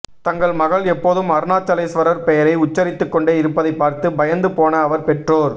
தங்கள் மகள் எப்போதும் அருணாசலேஸ்வரர் பெயரை உச்சரித்துக் கொண்டே இருப்பதைப் பார்த்து பயந்து போன அவர் பெற்றோர்